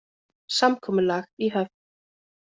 Samkomulag í höfn